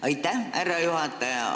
Aitäh, härra juhataja!